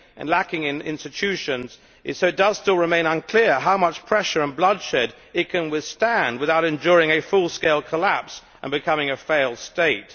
lack of institutions, it remains unclear how much pressure and bloodshed it can withstand without enduring a full scale collapse and becoming a failed state.